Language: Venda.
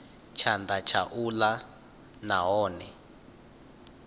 tshanḓa tsha u ḽa nahone